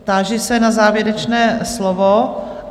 Táži se na závěrečné slovo?